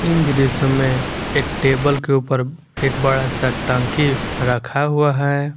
इन दृश्यों में एक टेबल के ऊपर एक बड़ा सा टंकी रखा हुआ है।